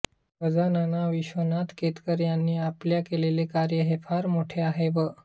गजानना विश्वनाथ केतकर यांनी आपल्या केलले कार्य हे फार मोटे आहे व